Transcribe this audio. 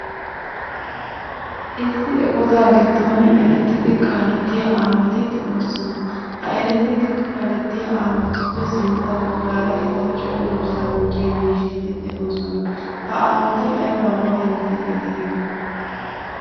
Issi eqotaa giddon erettiidi kaalettiya awaati de'oosona. He erettiidi kaalettiya aawatuppe sintta baggaara etawu cenggurssaa gujjiya miishshati de'oosona. Ha aawati aybaabaa yootiiddi de"iyoonaa?